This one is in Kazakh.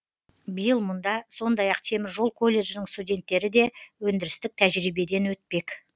биыл мұнда сондай ақ теміржол колледжінің студенттері де өндірістік тәжірибеден өтпек